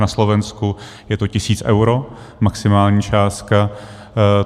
Na Slovensku je to tisíc eur, maximální částka.